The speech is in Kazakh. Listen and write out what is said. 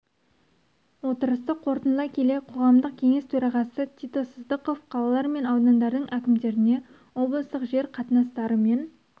отырысты қорытындылай келе қоғамдық кеңес төрағасы тито сыздықов қалалар мен аудандардың әкімдеріне облыстық жер қатынастары мен